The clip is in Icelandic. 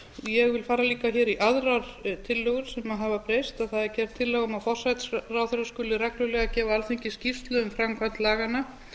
ég vil líka fara í aðrar tillögur sem hafa breyst það er gerð tillaga um að forsætisráðherra skuli reglulega gefa alþingi skýrslu um framkvæmd laganna